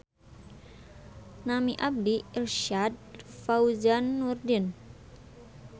Nami abdi Irsyad Fauzan Nurdin.